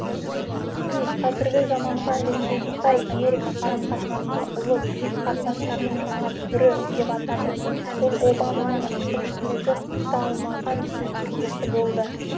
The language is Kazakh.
си қазіргі заманғы әлемдегі қытай америка қарым қатынасын ұлы билік қатынастарының жаңа түрі деп атады ол обаманың әкімшілігі құпталмаған сөз тіркесі болды